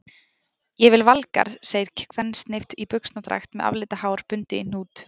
Ég vil Valgarð, segir kvensnift í buxnadragt með aflitað hár bundið í hnút.